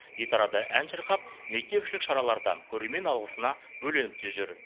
гитарада ән шырқап мектепішілік шараларда көрермен алғысына бөленіп те жүр